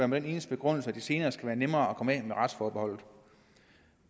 med den eneste begrundelse at det senere skal være nemmere at komme af med retsforbeholdet